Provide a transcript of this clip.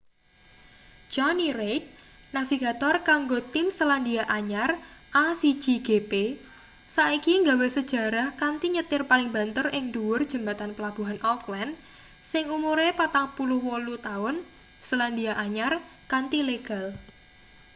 johny reid navigator kanggo tim selandia anyar a1gp saiki gawe sejarah kanthi nyetir paling banter ing ndhuwur jembatan pelabuhan auckland sing umure 48-taun selandia anyar kanthi legal